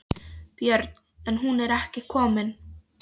Björn: En hún er ekki komin?